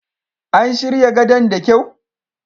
An shirya gadon da kyau.